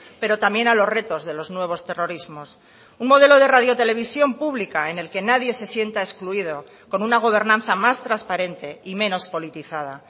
pero también a los retos de los nuevos terrorismos un modelo de radiotelevisión pública en el que nadie se sienta excluido con una gobernanza más transparente y menos politizada